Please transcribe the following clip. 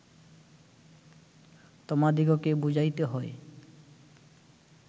তোমাদিগকে বুঝাইতে হয়